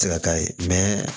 Tɛ se ka k'a ye